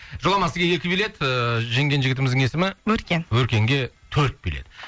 жоламан сізге екі билет ыыы жеңген жігітіміздің есімі өркен өркенге төрт билет